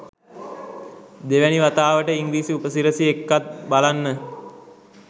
දෙවැනි වතාවට ඉංග්‍රීසි උපසිරැසි එක්කත් බලන්න.